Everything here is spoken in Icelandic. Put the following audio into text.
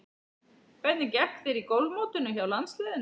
Hvernig gekk þér í golfmótinu hjá landsliðinu?